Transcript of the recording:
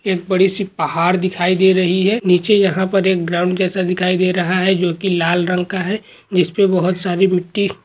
एक बड़ी सी पहाड़ दिखाई दे रही है नीचे यहा पर एक ग्राउंड जैसा दिखाई दे रहा है जो कि लाल रंग का है जिसपे बहुत सारे मिट्टी--